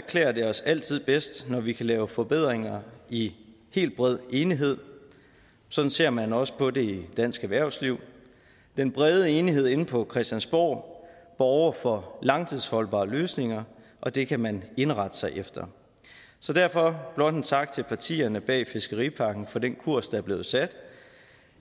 klæder det os altid bedst når vi kan lave forbedringer i helt bred enighed sådan ser man også på det i dansk erhvervsliv den brede enighed inde på christiansborg borger for langtidsholdbare løsninger og det kan man indrette sig efter så derfor blot en tak til partierne bag fiskeripakken for den kurs der er blevet sat